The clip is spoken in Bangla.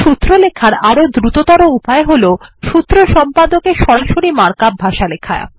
সূত্র লেখার আরো দ্রুততর উপায় হল সূত্র সম্পদকে সরাসরি মার্ক আপ ভাষায় লেখা